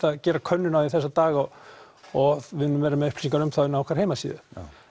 að gera könnun þessa dagana og við munum vera með upplýsingar um hana á okkar heimasíðu